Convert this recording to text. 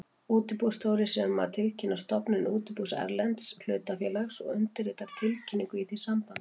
Útibússtjóri sér um að tilkynna stofnun útibús erlends hlutafélags og undirritar tilkynningu í því sambandi.